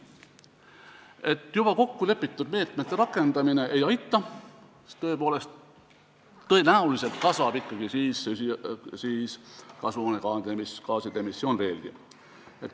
Et juba kokkulepitud meetmete võtmine ei aita, siis tõenäoliselt kasvab kasvuhoonegaaside emissioon veelgi.